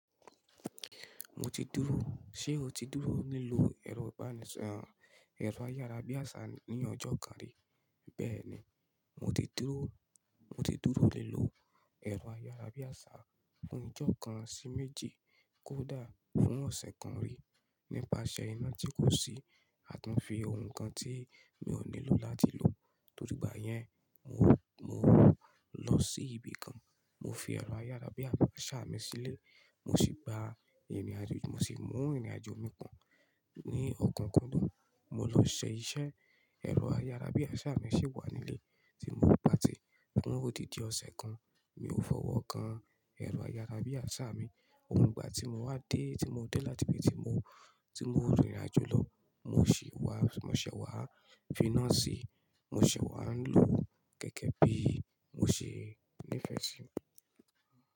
Mo ti dúró, ṣé o ti dúró nílò ẹ̀rọ ibanisọrọ, ẹ̀rọ ayárabíàṣá ní ọjọ́ kan rí? Bẹ́ẹ̀ ni, mo ti dúró, mo ti dúró nílò ẹ̀rọ ayárabíàṣá fún ọjọ́ kan sí méje kó dà fún ọ̀sẹ̀ kan rí nípa iṣẹ́ iná tí kò sí, àti fi ohun kan tí mi ò nílò láti lò. Torí ìgbà yẹn, mo, mo lọ sí ibi kan, mo fi ẹ̀rọ ayárabíàṣá mi sílé, mo sì gba ìrìnàjò, mo sì mú ìrìnàjò mi pọ̀n ní ọ̀kúnkódùn. Mo ló ṣe iṣẹ́, ẹ̀rọ ayárabíàṣá mi sì wà nílé tí mo ń patì. Níwọ̀n odin di ọ̀sẹ̀ kan, mi ò fọwọ́ kan ẹ̀rọ ayárabíàṣá mi. Ìgbà tí mo wá dé, tí mo dé láti ibi tí mo, tí mo rìnrìnàjò lọ, mo sì wá, mo ṣẹ̀ wá fíná sí i, mo ṣẹ̀ wá ń lò gẹ́gẹ́ bí mo ṣe nífẹ̀ẹ́ sí i.